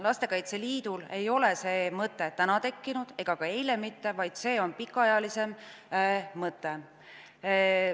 Lastekaitse Liidul ei tekkinud see mõte täna ega ka eile mitte, see on pikemaajaline mõte olnud.